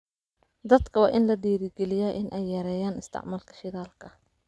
Dadka waa in la dhiirrigeliyaa in ay yareeyaan isticmaalka shidaalka.